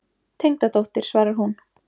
Tengdadóttir, svarar hún.